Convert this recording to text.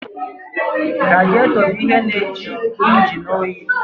Radịètọ bụ ihe na-jụ injin oyi